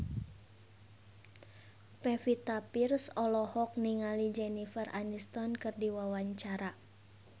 Pevita Pearce olohok ningali Jennifer Aniston keur diwawancara